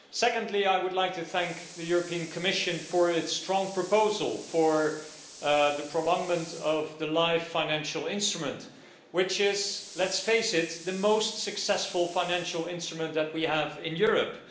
Secondly, I would like to thank the European Commission for its strong proposal for the prolongment of the LIFE financial instrument, which is let's face it the most successful financial instrument that we have in Europe.